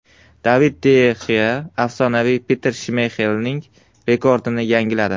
David de Xea afsonaviy Petr Shmeyxelning rekordini yangiladi.